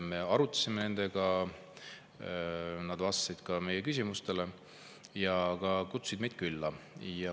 Me arutasime nendega, nad vastasid meie küsimustele ja ka kutsusid meid külla.